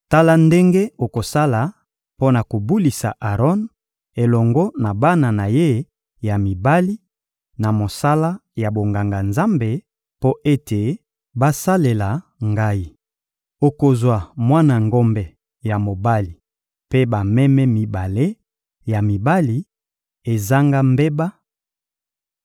Tala ndenge okosala mpo na kobulisa Aron elongo na bana na ye ya mibali, na mosala ya bonganga-Nzambe mpo ete basalela Ngai. Okozwa mwana ngombe ya mobali mpe bameme mibale ya mibali, ezanga mbeba;